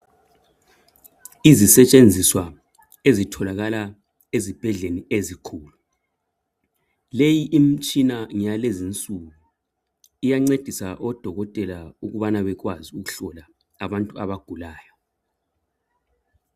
Izisetshenziswa ezitholakala ezibhedlela ezikhulu. Leyi imitshina ngeyalezinsuku, iyancedisa odokotela ukubana bekwazi ukuhlola abantu abagulayo.